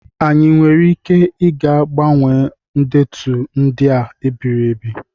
Anyị nwere ike ịga gbanwee ndetu ndị a ebibiri?